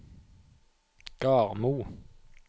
Garmo